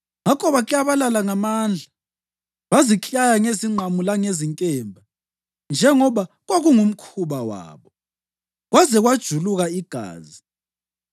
Ngakho baklabalala ngamandla baziklaya ngezingqamu langezinkemba, njengoba kwakungumkhuba wabo, kwaze kwajuluka igazi.